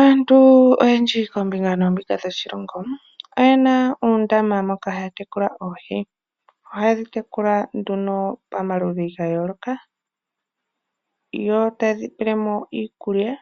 Aantu oyendji kombinga noombinga dhoshilongo , oyena uundama moka haatekula oohi, ohaye dhitekula nduno pamaludhi gayooloka .yotaye dhipelemo iikulya